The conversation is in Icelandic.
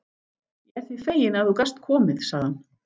Ég er því feginn, að þú gast komið sagði hann.